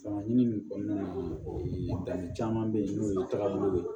Fanga ɲini kɔnɔna na danni caman be yen n'o ye taabolo ye